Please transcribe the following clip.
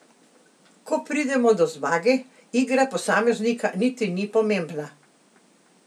Ko pridemo do zmage, igra posameznika niti ni pomembna.